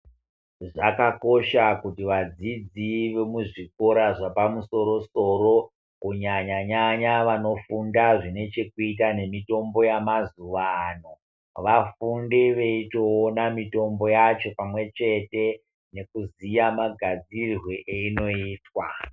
Zvakakosha kuti vadzidzi vemuzvikora zvapamusoro soro kunyanyanyanya vanofunda zvine chekuita nemitombo yamazuwano vafunde vachitoona mitombo yacho pamwechete nekuziya magadzirirwe eyinoitwa.